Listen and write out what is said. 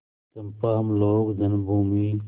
चंपा हम लोग जन्मभूमि